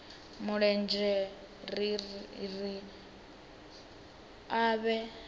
mulenzhe ri ri a vha